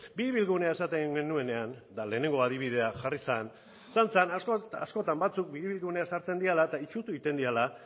biribilgunean esaten genuenean eta lehenengo adibidea jarri zen eta izan zen askotan batzuk biribilgunea sartzen direla eta itsutu egiten direla